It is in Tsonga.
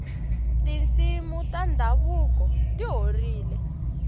tinsimu ta ndhavuko ti horile